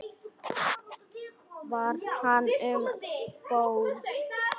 Var hann um borð?